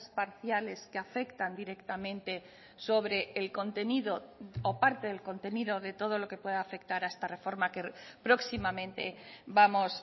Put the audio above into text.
parciales que afectan directamente sobre el contenido o parte del contenido de todo lo que pueda afectar a esta reforma que próximamente vamos